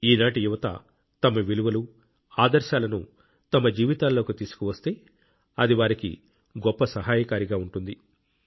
ఈనాటి యువత తమ విలువలు ఆదర్శాలను తమ జీవితాల్లోకి తీసుకువస్తే అది వారికి గొప్ప సహాయకారిగా ఉంటుంది